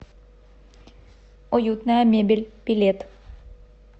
уютная мебель билет